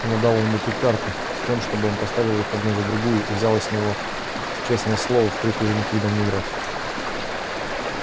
она дала ему три карты с тем чтоб он поставил их одну за другую и взяла с него честное слово впредь уже никогда не играть